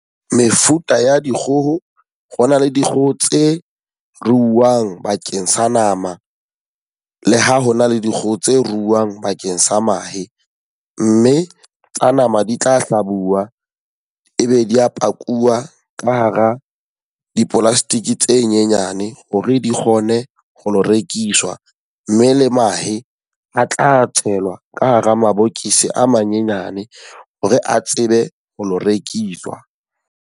Mefuta ya dikgoho, ho na le dikgoho tse ruuwang bakeng sa nama. Le ha hona le dikgoho tse ruuwang bakeng sa mahe. Mme tsa nama di tla hlabuwa, e be di a pakuwa ka hara di-plastic tse nyenyane hore di kgone ho lo rekiswa. Mme le mahe a tla tshelwa ka hara mabokisi a manyenyane hore a tsebe ho lo rekiswa.